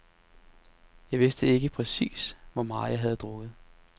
Jeg vidste ikke præcis, hvor meget jeg havde drukket.